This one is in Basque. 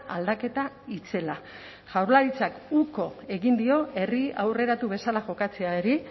aldaketa itzela jaurlaritzak uko egin dio herri aurreratu bezala jokatzeari